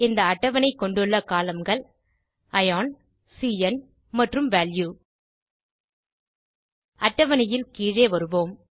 இந்த அட்டவணை கொண்டுள்ள columnகள் அயோன் cந் மற்றும் வால்யூ அட்டவணையில் கீழே வருவோம்